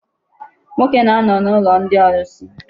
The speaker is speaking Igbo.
Nwoke na-anọ n'ụlọ ndị ọlụsị.